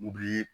U bi